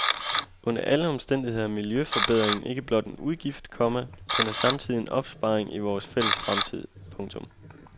Under alle omstændigheder er miljøforbedringen ikke blot en udgift, komma den er samtidig en opsparing i vores fælles fremtid. punktum